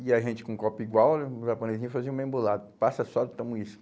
E a gente com um copo igual né, o japonesinho fazia uma embolada, passa a soda e toma uísque.